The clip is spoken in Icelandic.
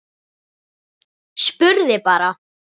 Spurði bara.